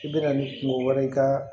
I bɛna ni kungo wɛrɛ ka